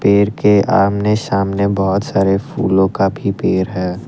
पेड़ के आमने सामने बहोत सारे फूलों का भी पेड़ है।